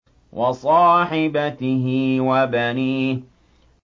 وَصَاحِبَتِهِ وَبَنِيهِ